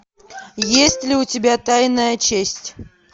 есть ли у тебя тайная честь